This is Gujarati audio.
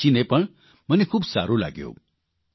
તે વાંચીને પણ મને ખૂબ સારૂં લાગ્યું